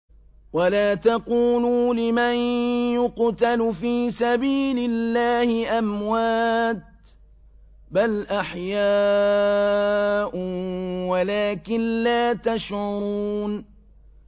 وَلَا تَقُولُوا لِمَن يُقْتَلُ فِي سَبِيلِ اللَّهِ أَمْوَاتٌ ۚ بَلْ أَحْيَاءٌ وَلَٰكِن لَّا تَشْعُرُونَ